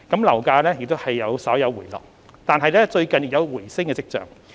樓價雖稍有回落，但最近亦有回升跡象。